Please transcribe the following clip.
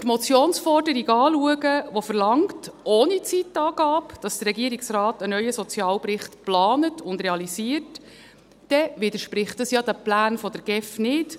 Wenn wir die Motionsforderung anschauen, die verlangt – ohne Zeitangabe –, dass der Regierungsrat einen neuen Sozialbericht plant und realisiert, widerspricht das den Plänen der GEF ja nicht.